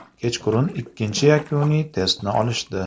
Kechqurun ikkinchi yakuniy testni olishdi.